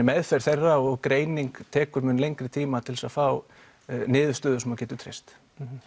meðferð þeirra og greining tekur mun lengri tíma til þess að fá niðurstöður sem að þú getur treyst